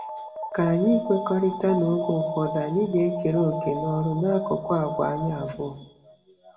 K'ányi ikwekọrịta n'oge ụfọdụ anyị ga-ekere òkè n'ọrụ n'akụkụ àgwà anyị abuo?